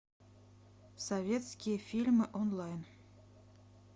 советские фильмы онлайн